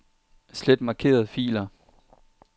Slet markerede filer.